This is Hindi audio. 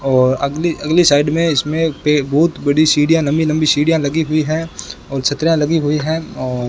और अगली अगली साइड में इसमें पे बहुत बड़ी सीढ़ियां लंबी लंबी सीढ़ियां लगी हुई हैं और छतरियां लगी हुई हैं और --